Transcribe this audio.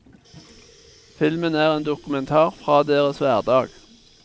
Filmen er en dokumentar fra deres hverdag.